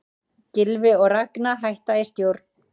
Gylfi og Ragna hætta í stjórn